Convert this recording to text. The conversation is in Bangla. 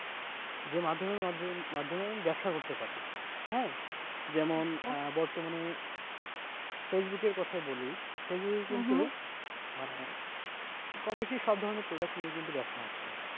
যে মাধ্যমের মাধ্যমে আমি ব্যবসা করতে পারি হ্যাঁ বর্তমানে, ফেসবুক এর কথাই বলি, ফেসবুক মানে কম বেশি সব ধরনের product নিয়ে কিন্তু ব্যবসা হচ্ছে।